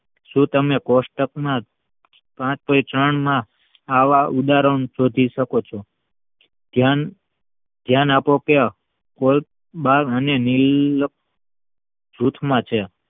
શું તમને કોષ્ટકમાં આવા ઉદાહરણો ગોતી શકો છો ધ્યાન આપો કે જૂથમાં છે